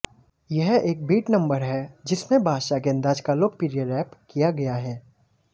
यह एक beat number है जिसमें बादशाह के अंदाज़ का लोकप्रिय रैप किया गया है